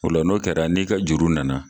Ola n'o kɛra n'i ka juru nana